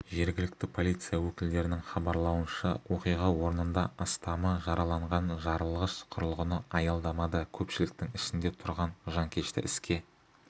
жергілікті полиция өкілдерінң хабарлауынша оқиға орнында астамы жараланған жарылғыш құрылғыны аялдамада көпшіліктің ішінде тұрған жанкешті іске